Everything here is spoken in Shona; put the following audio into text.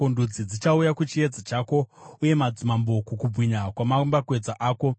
Ndudzi dzichauya kuchiedza chako, uye madzimambo kukubwinya kwamambakwedza ako.